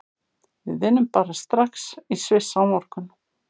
Við vinnum bara strax í Sviss á morgun.